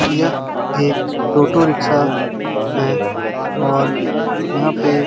यह एक टोटो रिक्शा हैं और यहाँ पे --